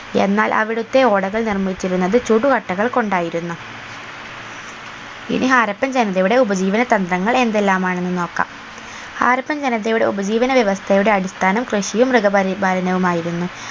എന്നാൽ അവിടുത്തെ ഓടകൾ നിർമ്മിച്ചിരുന്നത് ചുടുകട്ടകൾ കൊണ്ടായിരുന്നു ഇനി ഹാരപ്പൻ ജനതയുടെ ഉപജീവന തന്ത്രങ്ങൾ എന്തെല്ലാമാണെന്ന് നോക്കാം ഹാരപ്പൻ ജനതയുടെ ഉപജീവന വ്യവസ്ഥയുടെ അടിസ്ഥാനം കൃഷിയും മൃഗപരിപാലനവും ആയിരുന്നു